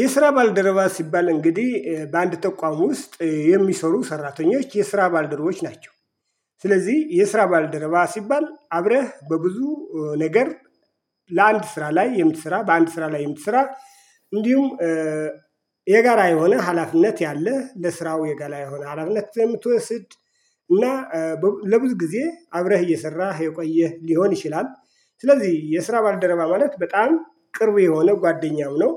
የስራ ባልደረባ ሲባል እንግዲህ በአንድ ተቋም ውስጥ የሚሰሩ ሰራተኞች የስራ ባልደረባዎች ናቸው። ስለዚህ የስራ ባልደረባ ሲባል አብረህ በብዙ ነገር ለአንድ ስራ ላይ የምትሰራ በአንድ ስራ ላይ የምትሰራ እንዲሁም የጋራ የሆነ ሀላፊነት ያለህ ለስራው የጋራ የሆነ ሀላፊነት ስለምትወስድ እና ለብዙ ጊዜ አብረህ እየሰራህ የቆየህ ሊሆን ይችላል ስለዚህ የስራ ባልደረባ ማለት በጣም ቅርብ የሆነው ጓደኛው ነው።